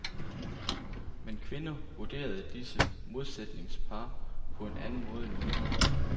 Men kvinder vurderede disse modsætningspar på en anden måde end mænd.